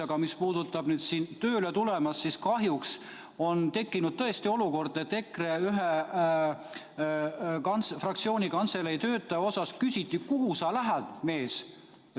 Aga mis puudutab siia tööle tulemist, siis kahjuks on tekkinud tõesti olukord, et kantseleis EKRE fraktsioonis töötava inimese käest küsiti: "Kuhu sa lähed, mees?